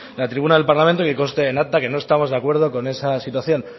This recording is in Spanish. la tribuna del parlamento que conste en acta que no estamos de acuerdo con esa situación